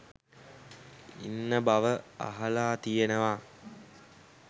ඉන්න බව අහලා තියෙනවා.